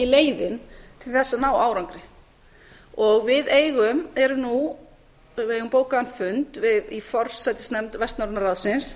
leiðin til þess að ná árangri við eigum nú bókaðan fund í forsætisnefnd vestnorræna ráðsins